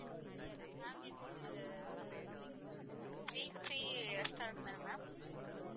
ma'am இது Sri Sri restaurant தானே ma'am